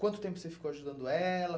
Quanto tempo você ficou ajudando ela?